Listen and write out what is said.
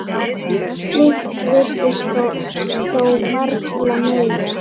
Slíkt virðist þó varla mega.